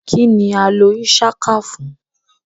Kini a lo Ishaka fun?